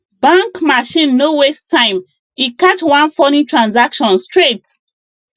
bank machine no waste time e catch one funny transaction straight